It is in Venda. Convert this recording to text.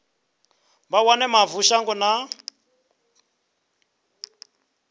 vha wane mavu shango na